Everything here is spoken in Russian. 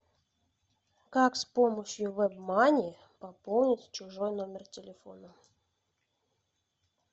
как с помощью вебмани пополнить чужой номер телефона